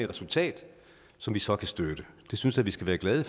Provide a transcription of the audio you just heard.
resultat som vi så kan støtte det synes jeg vi skal være glade